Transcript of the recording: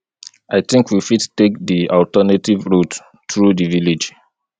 i think we fit take di alternative route through di village